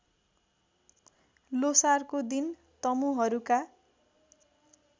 ल्होसारको दिन तमुहरूका